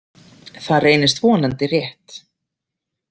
Það reynist vonandi rétt.